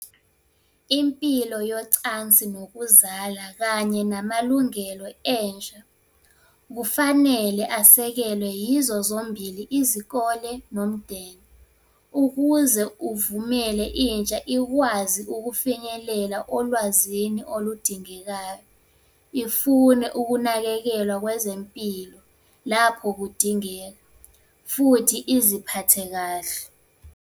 Impilo yocansi nokuzala kanye namalungelo entsha kufanele asekelwe yizo zombili izikole nomndeni. Ukuze uvumele intsha ikwazi ukufinyelela olwazini oludingekayo, ifune ukunakekelwa kwezempilo lapho kudingeka, futhi iziphathe kahle.